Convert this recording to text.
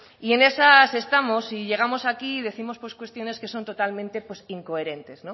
y en esas estamos y llegamos aquí y décimos pues cuestiones que son totalmente pues incoherentes